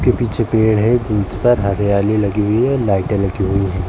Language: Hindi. उसके पीछे पेड़ है जिन पर हरियाली लगी हुई है लाइटें लगी हुई है।